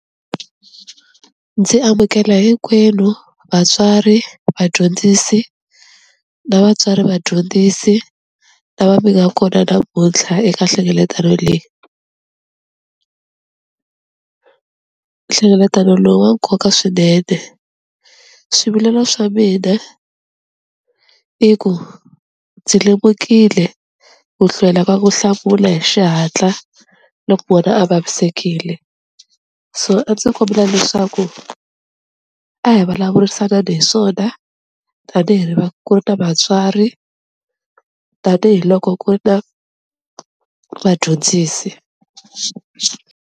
Ndzi amukela hinkwenu vatswari, vadyondzisi na vatswari vadyondzisi lava mi nga kona namuntlha eka nhlengeletano leyi. Nhlengelatano lowu wa nkoka swinene, swivilelo swa mina i ku ndzi lemukile ku hlwela ka ku hlamula hi xihatla loko vana a vavisekile, so a ndzi kombela leswaku a hi vulavurisanani hi swona tanihi ri ku ri na vatswari tanihiloko ku ri na vadyondzisi.